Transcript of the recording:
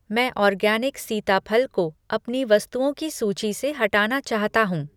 मैं ऑर्गैनिक सीताफल को अपनी वस्तुओं की सूची से हटाना चाहता हूँ।